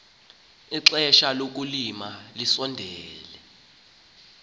ixesha lokulima lisondele